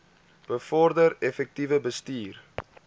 bevorder effektiewe bestuur